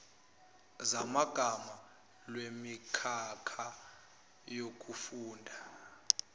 zamagama lwemikhakha yokufunda